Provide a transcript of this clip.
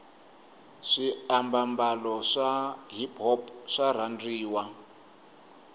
swi ababalo swa hiphop swarhandziwa